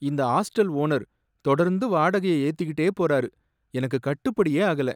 இந்த hostel owner தொடர்ந்து வாடகையை ஏத்திக்கிட்டே போறாரு, எனக்கு கட்டுப்படியே ஆகல.